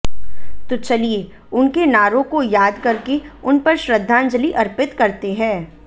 तो चलिए उनके नारों को याद करके उन पर श्रद्धांजलि अर्पित करते हैं